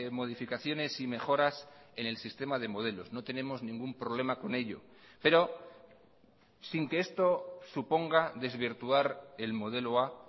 modificaciones y mejoras en el sistema de modelos no tenemos ningún problema con ello pero sin que esto suponga desvirtuar el modelo a